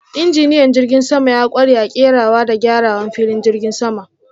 Injiniyan jirgin sama ya kware a kerawa da gyarawan filin jigin sama.